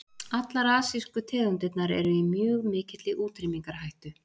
Allar asísku tegundirnar eru í mjög mikilli útrýmingarhættu.